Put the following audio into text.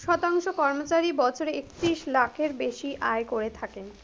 শতাংশ কর্মচারী বছরে একত্রিশ lakh এর বেশি আয় করে থাকেন,